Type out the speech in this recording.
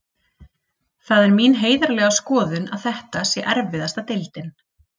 Það er mín heiðarlega skoðun að þetta sé erfiðasta deildin.